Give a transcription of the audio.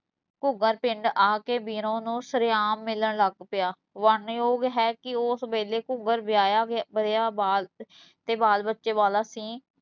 ਘੂਗਰ ਪਿੰਡ ਆ ਕੇ ਬੀਰੋਂ ਨੂੰ ਸ਼ਰੇਆਮ ਮਿਲਣ ਲੱਗ ਪਿਆ, ਬਣਨਯੋਗ ਹੈ ਕੀ ਓਸ ਵੇਲੇ ਘੂਗਰ ਵਿਆਹਿਆ ਵਰਿਆ ਬਾਲ ਤੇ ਬਾਲ ਬੱਚੇ ਵਾਲਾ ਸੀ